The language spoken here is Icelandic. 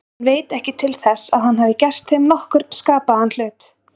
Hann veit ekki til þess að hann hafi gert þeim nokkurn skapaðan hlut.